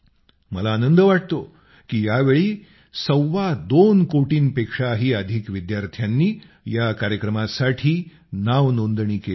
मला आनंद वाटतो की यावेळी सव्वा दोन कोटींपेक्षाही अधिक विद्यार्थ्यांनी या कार्यक्रमासाठी नावनोंदणी केली आहे